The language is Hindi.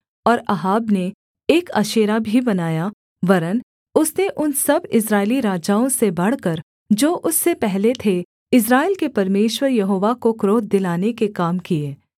और अहाब ने एक अशेरा भी बनाया वरन् उसने उन सब इस्राएली राजाओं से बढ़कर जो उससे पहले थे इस्राएल के परमेश्वर यहोवा को क्रोध दिलाने के काम किए